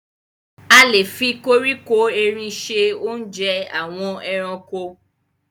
A lè fi koríko erin ṣe oúnjẹ àwọn ẹranko.